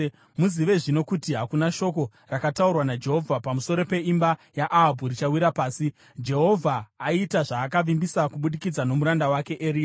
Muzive zvino kuti hakuna shoko rakataurwa naJehovha pamusoro peimba yaAhabhu richawira pasi. Jehovha aita zvaakavimbisa kubudikidza nomuranda wake Eria.”